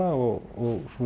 og